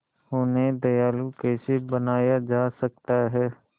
उन्हें दयालु कैसे बनाया जा सकता है